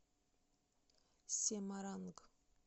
семаранг